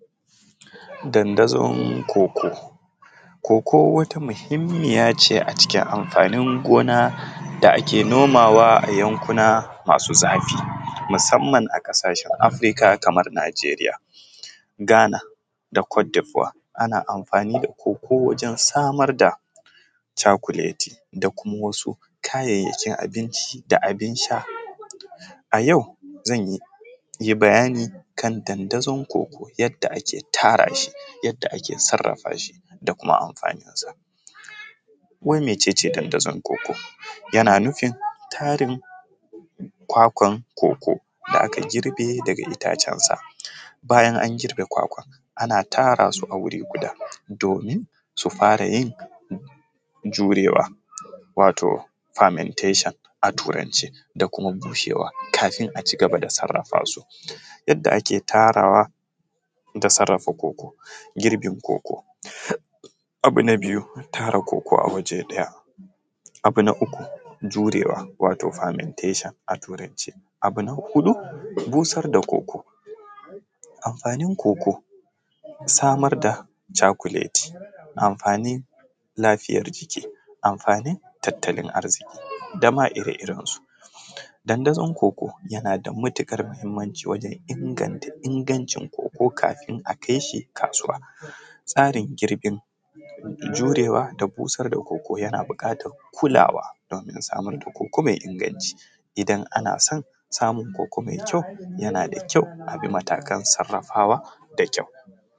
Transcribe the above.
Dandazon cocoa, cocoa wata muhimmiya ce a cikin amfanin gona da ake nomawa a yankuna masu zafi musamman a ƙasashen Afrika kamar Nijeriya Ghana da cote voire, ana amfani da cocoa wajen samar da cakuleti da kuma wasu kayayyakin abinci da abin sha, a yau zanyi bayani kan dandazon cocoa yadda ake tara shi yadda ake sarafa shi da kuma amfani sa, wai mece ce dandazon cocoa? yana nufin tarin kwakwan cocoa da aka girbe daga itacen sa bayan an girbe kwakwan ana tara su a wuri guda domin fara yin jurewa wato permentation a turance da kuma bushewa kafin a cigaba da sarafa su, yadda ake tarawa da sarafa cocoa girbin cocoa abu na biyu tara cocoa a waje ɗaya, abu na uku jurewa wato permentation a turance, abu na huɗu busar da cocoa amfanin cocoa samar da cakuleti amfanin lafiyar jiki amfanin tattalin arziƙi dama ire irensu dandazon cocoa na da matuƙar muhimmanci wajen inganta ingantacin cocoa kafin a kai shi kasuwa tsarin girbin jurewa da busar da cocoa yana buƙatar kulawa domin saamar da cocoa mai inganci idan ana son samun cocoa mai kyau yana da kyau abin matakan sarafawa da kyau.